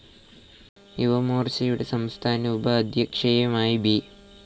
യുവമോർച്ചയുടെ സംസ്ഥാന ഉപാധ്യക്ഷയായും ബി.